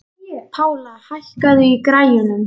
Pála, hækkaðu í græjunum.